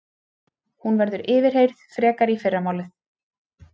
Hún verður yfirheyrð frekar í fyrramálið